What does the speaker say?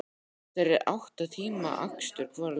Þetta er átta tíma akstur hvora leið.